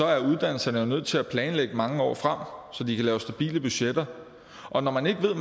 er uddannelserne nødt til at planlægge mange år frem så de kan lave stabile budgetter og når man ikke ved